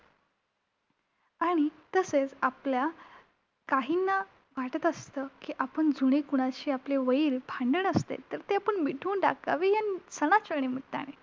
आणि तसेच आपल्या काहींना वाटत असतं की आपण जुने कुणाशी आपलं वैर, भांडण असते, तर ते आपण मिटवून टाकावे ह्या सणाच्या निमित्ताने!